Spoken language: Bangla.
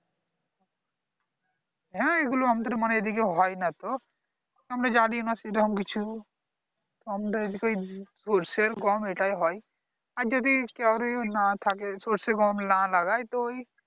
হ্যাঁ এগুলো মানে আমাদের এইদিকে হয়নাতো আমরা জানিনা সেরকম কিছু আমরা এইদিকে ওই সর্ষে আর গম এটাই হয় আর যদি . না থাকে সর্ষে গম না লাগায় তো ওই